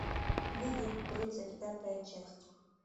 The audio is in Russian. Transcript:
видеть тридцать пятая часть